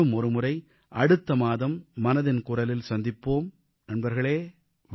மீண்டும் ஒருமுறை அடுத்த மாதம் மனதின் குரலில் சந்திப்போம் நண்பர்களே